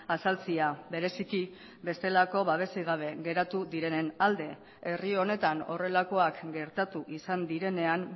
azaltzea bereziki bestelako babesik gabe geratu direnen alde herri honetan horrelakoak gertatu izan direnean